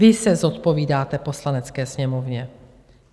Vy se zodpovídáte Poslanecké sněmovně.